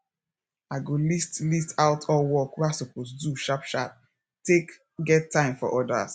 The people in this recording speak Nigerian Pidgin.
i go list list out all work wey i suppose do sharp sharp take get time for odas